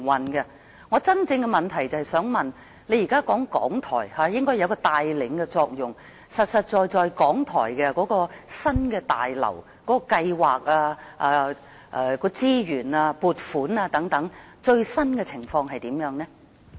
我的補充質詢是，局長現在說港台應該有一個帶領的作用，究竟港台新廣播大樓的計劃、資源及撥款等的最新情況是怎樣？